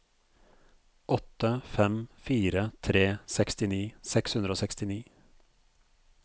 åtte fem fire tre sekstini seks hundre og sekstini